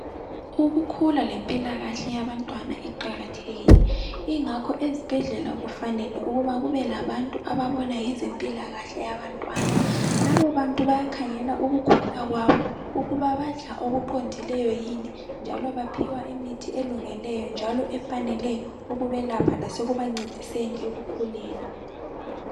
Ukukhula lempilakahle yabantwana iqakathekile, yingakho ezibhedlela kufanele ukuba kube labantu ababona ngezempilakahle yabantwana. Labobantu bayakhangela ukukhula kwabo, ukuba badla okuqondileyo yini, njalo baphiwa imithi elungeleyo njalo efaneleyo ukubelapha lasekubancediseni ekukhuleni.